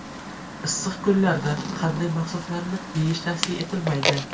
Issiq kunlarda qanday mahsulotlarni yeyish tavsiya etilmaydi?.